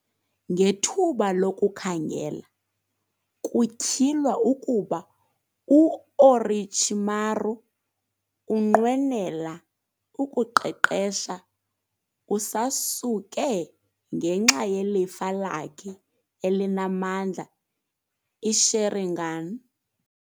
Ngethuba lokukhangela, kutyhilwa ukuba u-Orochimaru unqwenela ukuqeqesha uSasuke ngenxa yelifa lakhe elinamandla, i-Sharingan.